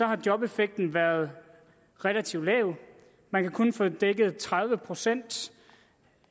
har jobeffekten været relativt lav man kan kun få dækket tredive procent